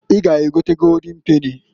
I ga egota Goldin peni.